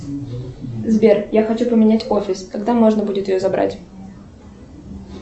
сбер я хочу поменять офис когда можно будет ее забрать